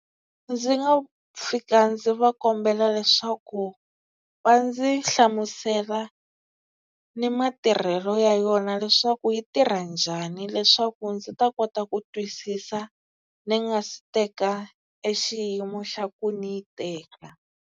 Ndzi nga fika ndzi va kombela leswaku va ndzi hlamusela ni matirhelo ya yona leswaku yi tirha njhani leswaku ndzi ta kota ku twisisa ni nga si teka e xiyimo xa ku ni yi teka.